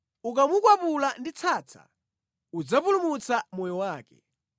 Ukamukwapula ndi tsatsa udzapulumutsa moyo wake.